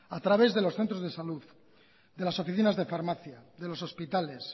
a través de los centros de salud de las oficinas de farmacia de los hospitales